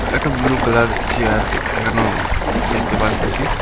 একটা blue colour chair এখানেও দেখতে পারিতাসি।